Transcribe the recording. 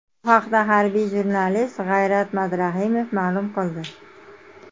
Bu haqda harbiy jurnalist G‘ayrat Madrahimov ma’lum qildi.